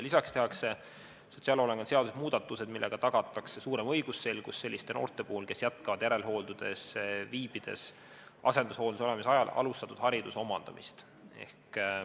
Lisaks tehakse sotsiaalhoolekande seaduses muudatused, millega tagatakse suurem õigusselgus selliste noorte puhul, kes jätkavad järelhooldusel viibides asendushooldusel olemise ajal alustatud hariduse omandamist.